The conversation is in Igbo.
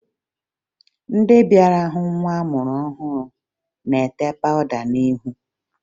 Ndị bịara hụ nwa amụrụ ọhụrụ na-ete pawụda n'ihu